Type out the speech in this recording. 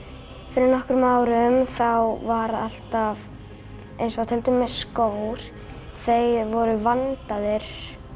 fyrir nokkrum árum þá var alltaf eins og til dæmis skór þeir voru vandaðir